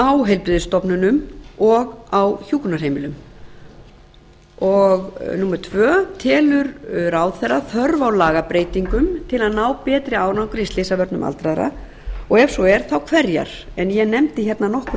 á heilbrigðisstofnunum og á hjúkrunarheimilum annar telur ráðherra þörf á lagabreytingum til að ná betri árangri í slysavörnum aldraðra og ef svo er þá hverjar ég nefndi nokkur